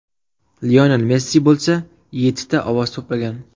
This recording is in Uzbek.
Lionel Messi bo‘lsa yettita ovoz to‘plagan.